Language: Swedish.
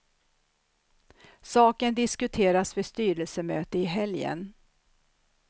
Saken diskuteras vid styrelsemöte i helgen.